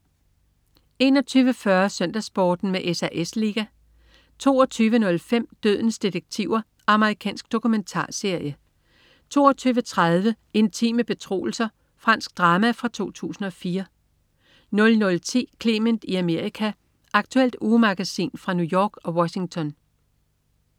21.40 SøndagsSporten med SAS Liga 22.05 Dødens detektiver. Amerikansk dokumentarserie 22.30 Intime betroelser. Fransk drama fra 2004 00.10 Clement i Amerika. Aktuelt ugemagasin fra New York og Washington